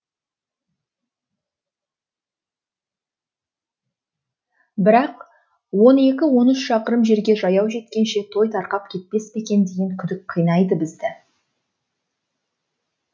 бірақ он екі он үш шақырым жерге жаяу жеткенше той тарқап кетпес пе екен деген күдік қинайды бізді